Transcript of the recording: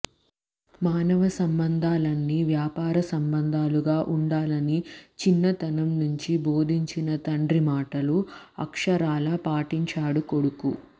మానవ సంబంధా లన్నీ వ్యాపార సంబంధాలుగా ఉండాలని చిన్నతనం నుంచీ బోధించిన తండ్రి మాటలు అ్క్షరాలా పాటించాడు కొడుకు